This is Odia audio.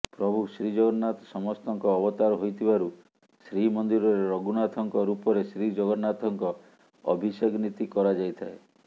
ପ୍ରଭୁ ଶ୍ରୀଜଗନ୍ନାଥ ସମସ୍ତଙ୍କ ଅବତାର ହୋଇଥିବାରୁ ଶ୍ରୀମନ୍ଦିରରେ ରଘୁନାଥଙ୍କ ରୂପରେ ଶ୍ରୀଜଗନ୍ନାଥଙ୍କ ଅଭିଷେକ ନୀତି କରାଯାଇଥାଏ